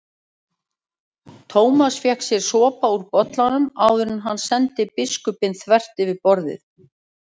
Thomas fékk sér sopa úr bollanum áður en hann sendi biskupinn þvert yfir borðið.